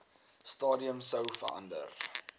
stadium sou verander